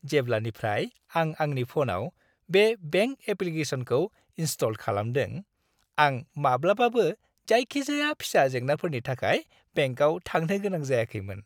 जेब्लानिफ्राय आं आंनि फ'नाव बे बेंक एप्लिकेशनखौ इनस्टल खालामदों, आं माब्लाबाबो जायखिजाया फिसा जेंनाफोरनि थाखाय बेंकाव थांनो गोनां जायाखैमोन।